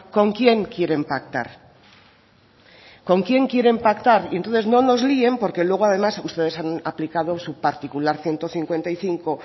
con quién quieren pactar con quién quieren pactar entonces no nos líen porque luego además ustedes han aplicado su particular ciento cincuenta y cinco